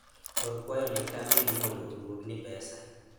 or kwayo ne kambi ni mondo oduogni pesa